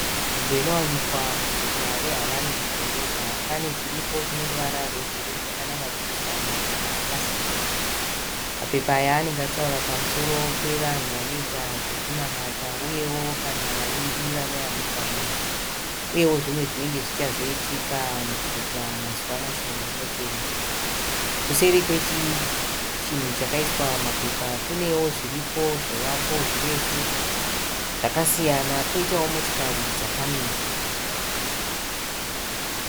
Nzvimbo inowanikwa muguta muHarare mudhorobha, pane chiripo cheruvara rwebhuruu chakanamatidzwa mapepa akasiyana. Mapepa aya anenge achitaura pamusoro pevanhu vanoita zvekunamata uyewo kana vaimbi vanowanikwa munzvimbo, uyewo zvinenge zvichazoitika muguta mazuva mashoma anotevera. Kuseri kwechinhu chakaiswa mapepa kunewo zviriko zvivakwa zvirefu zvakasiyana koitawo motokari dzakamira.